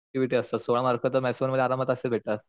activity असतात सोळा mark तर मॅथ्स वन मध्ये आरामात असे भेटतात